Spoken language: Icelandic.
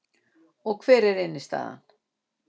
Og hver er innstæðan